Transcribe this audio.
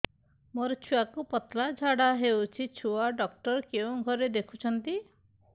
ମୋର ଛୁଆକୁ ପତଳା ଝାଡ଼ା ହେଉଛି ଛୁଆ ଡକ୍ଟର କେଉଁ ଘରେ ଦେଖୁଛନ୍ତି